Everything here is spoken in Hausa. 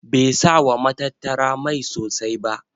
Bai sa wa matattara mai sosai ba.